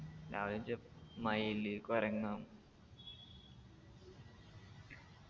രാവിലെ മയില് കൊരങ്ങൻ